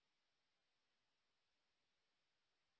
যারা অনলাইন পরীক্ষা পাস করে তাদের সার্টিফিকেট দেয়